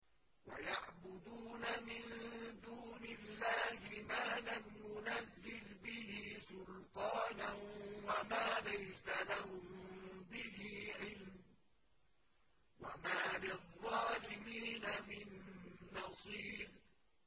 وَيَعْبُدُونَ مِن دُونِ اللَّهِ مَا لَمْ يُنَزِّلْ بِهِ سُلْطَانًا وَمَا لَيْسَ لَهُم بِهِ عِلْمٌ ۗ وَمَا لِلظَّالِمِينَ مِن نَّصِيرٍ